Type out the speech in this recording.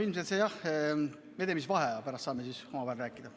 Me teeme vaheaja, pärast saame omavahel rääkida.